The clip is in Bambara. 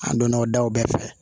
An donna o daw bɛɛ fɛ